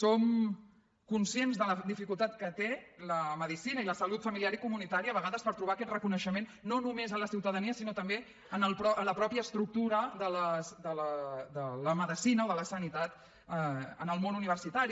som conscients de la dificultat que té la medicina i la salut familiar i comunitària a vegades per trobar aquest reconeixement no només a la ciutadania sinó també en la mateixa estructura de la medicina o de la sanitat en el món universitari